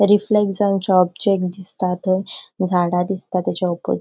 रिफ्लेक्ट जावन ऑब्जेक्ट दिसता थंय झाडा दिसता तेच्या ओपोस --